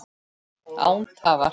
Án tafar!